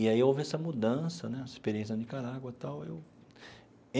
E aí houve essa mudança né, essa experiência da Nicarágua e tal eu.